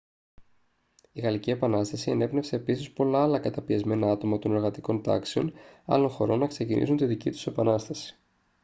η γαλλική επανάσταση ενέπνευσε επίσης πολλά άλλα καταπιεσμένα άτομα των εργατικών τάξεων άλλων χωρών να ξεκινήσουν τη δική τους επανάσταση